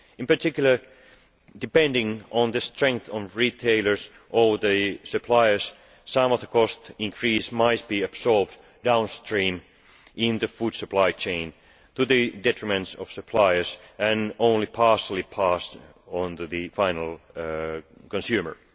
In particular, depending on the strength of retailers or the suppliers, some of the cost increase might be absorbed downstream in the food supply chain, to the detriment of suppliers, and only partially passed on to the final consumer.